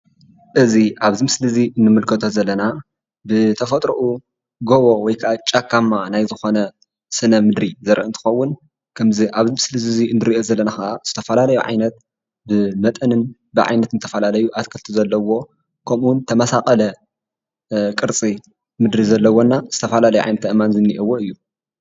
እዚ ኣብዚ ምስሊ እዚ እንምልከቶ ዘለና ብተፈጥሩኡ ጎቦ ወይከዓ ጫካማ ናይ ዝኾነ ስነ-ምድሪ ዘርኢ እንትኸውን ከምዚ ኣብዚ ምስሊ እዚ ንሪኦ ዘለና ኸዓ ዝተፈላለዩ ዓይነት ብመጠንን ብዓይነትን ተፈላለዩ ኣትክልቲ ዘለዎ ከምኡ ውን ተመሳቐለ ቅርፂ ምድሪ ዘለዎና ዝተፈላለየ ዓይነት ኣእማን ዝኒኤውዎ እዩ፡፡